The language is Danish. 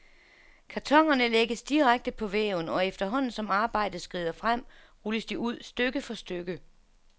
Kartonerne lægges direkte på væven, og efterhånden som arbejdet skrider frem, rulles de ud, stykke for stykke.